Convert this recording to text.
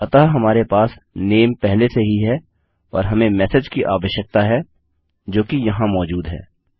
अतः हमारे पास नामे पहले से ही है और हमें मेसेज की आवश्यकता है जोकि यहाँ मौजूद है